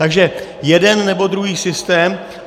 Takže jeden, nebo druhý systém.